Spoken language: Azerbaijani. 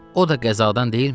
o da qəzadan deyilmi?